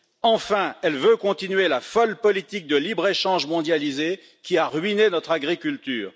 Enfin, elle veut continuer la folle politique de libre échange mondialisé qui a ruiné notre agriculture.